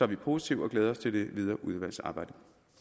vi positive og glæder os til det videre udvalgsarbejde